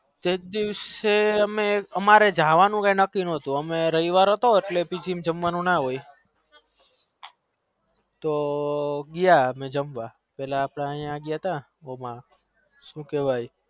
તે દિવસે અમારે નક્કી નાતુ તો અમે ગયા જમવા પેલા અમ અહી ગાય અહાતા શું કેવાય